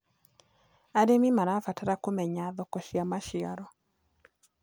Arĩmĩ marabatara kũmenya thoko cĩa macĩaro